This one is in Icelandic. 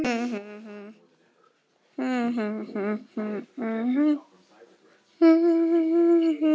Úr þessu verður lítil bók.